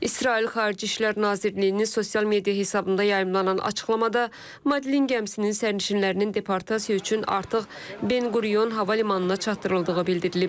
İsrail Xarici İşlər Nazirliyinin sosial media hesabında yayımlanan açıqlamada Madlen gəmisinin sərnişinlərinin deportasiya üçün artıq Ben Quryon hava limanına çatdırıldığı bildirilib.